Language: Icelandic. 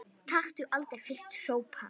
Taktu aldrei fyrsta sopann!